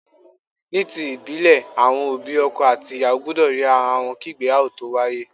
Ní ti ìbílè, àwọn òbí ọkọ àti ìyàwó gbúdọ̀ rí ara wọn kí ìgbéyàwó tó wáyé.